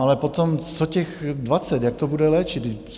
Ale potom, co těch 20, jak to bude léčit?